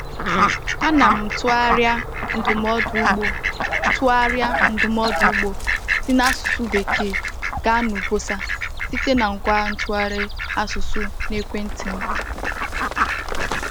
A na m tụgharịa ndụmọdụ ugbo tụgharịa ndụmọdụ ugbo si n’asụsụ Bekee gaa n’Ibosa site na ngwa ntụgharị asụsụ n’ekwenti m.